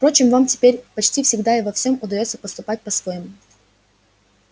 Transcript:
впрочем вам теперь почти всегда и во всём удаётся поступать по-своему